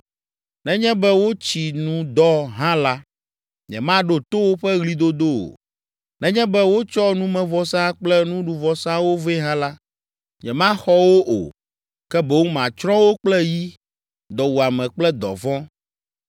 Nenye be wotsi nu dɔ hã la, nyemaɖo to woƒe ɣlidodo o. Nenye be wotsɔ numevɔsa kple nuɖuvɔsawo vɛ hã la, nyemaxɔ wo o, ke boŋ matsrɔ̃ wo kple yi, dɔwuame kple dɔvɔ̃.”